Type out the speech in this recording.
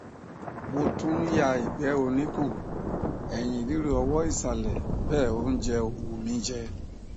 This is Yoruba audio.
mo tún ń ya ìgbẹ oníkun ẹyìn ríro ọwọ ìsàlẹ bẹẹ óúnjẹ ò wù mí jẹ